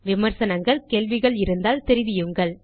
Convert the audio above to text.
விமர்சனங்கள் கேள்விகள் இருந்தால் தெரிவியுங்கள்